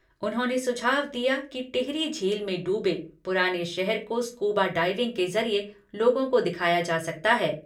उन्होंने सुझाव दिया कि टिहरी झील में डूबे पुराने शहर को स्कूबा डाइविंग के जरिए लोगों को दिखाया जा सकता है।